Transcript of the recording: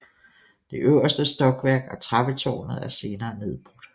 Det øverste stokværk og trappetårnet er senere nedbrudt